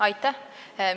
Aitäh!